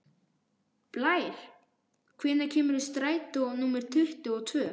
Blær, hvenær kemur strætó númer tuttugu og tvö?